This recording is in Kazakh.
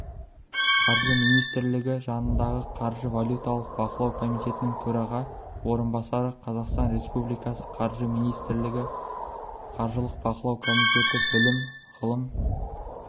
қаржы министрлігі жанындағықаржы-валюталық бақылау комитетінің төраға орынбасары қазақстан республикасы қаржы министрлігі қаржылық-бақылау комитеті білім ғылым